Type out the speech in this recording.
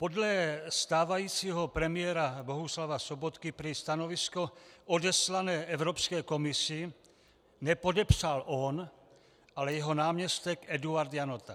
Podle stávajícího premiéra Bohuslava Sobotky prý stanovisko odeslané Evropské komisi nepodepsal on, ale jeho náměstek Eduard Janota.